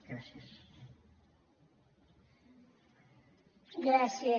gràcies